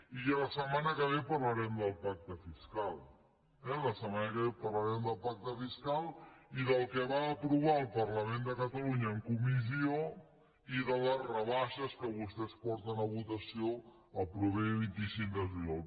i ja la setmana que ve parlarem del pacte fiscal eh la setmana que ve parlarem del pacte fiscal i del que va aprovar el parlament de catalunya en comissió i de les rebaixes que vostès porten a votació el proper vint cinc de juliol